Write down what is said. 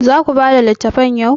Za ku bada littafan yau?